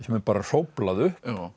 er bara hróflað upp